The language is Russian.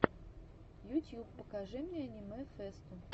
ютьюб покажи мне аниме фэсту